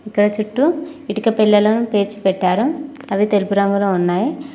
ఇక్కడ చుట్టూ ఇటుక పెల్లలను పేర్చిపెట్టారు అవి తెలుపు రంగులో ఉన్నాయి.